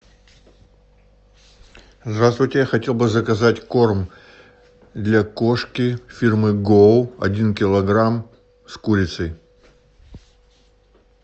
здравствуйте я хотел бы заказать корм для кошки фирмы гоу один килограмм с курицей